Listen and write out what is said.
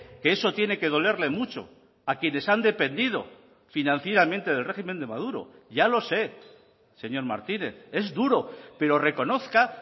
que eso tiene que dolerle mucho a quienes han dependido financieramente del régimen de maduro ya lo sé señor martínez es duro pero reconozca